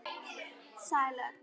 Sæl öll.